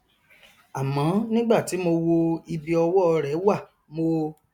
àmọ nígbà tí mo wo ibi ọwọ rẹ wà mo